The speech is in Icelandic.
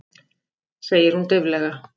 segir hún dauflega.